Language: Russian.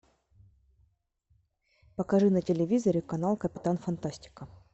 покажи на телевизоре канал капитан фантастика